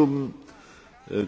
Herr